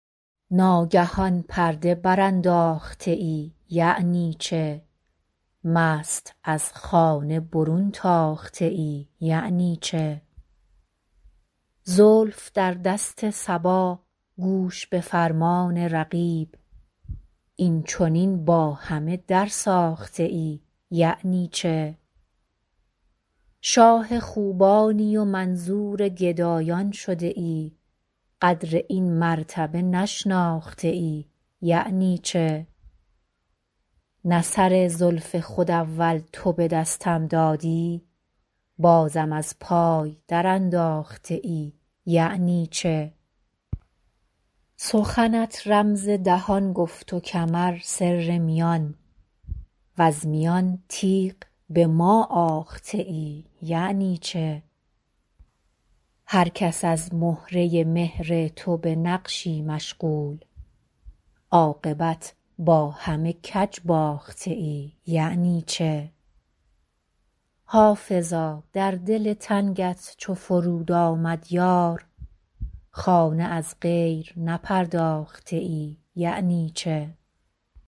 ناگهان پرده برانداخته ای یعنی چه مست از خانه برون تاخته ای یعنی چه زلف در دست صبا گوش به فرمان رقیب این چنین با همه درساخته ای یعنی چه شاه خوبانی و منظور گدایان شده ای قدر این مرتبه نشناخته ای یعنی چه نه سر زلف خود اول تو به دستم دادی بازم از پای درانداخته ای یعنی چه سخنت رمز دهان گفت و کمر سر میان وز میان تیغ به ما آخته ای یعنی چه هر کس از مهره مهر تو به نقشی مشغول عاقبت با همه کج باخته ای یعنی چه حافظا در دل تنگت چو فرود آمد یار خانه از غیر نپرداخته ای یعنی چه